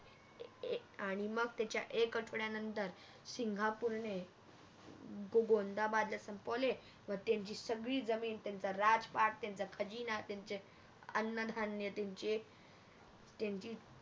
आणि मग त्याच्या एक आठवड्या नंतर सिंगापूरणे आह गोंदाबादला संपवले व त्यांची सगळी जमीन त्यांचा राज पाठ त्यांचा खजिना त्यांचे अन्न धान्य त्यांचे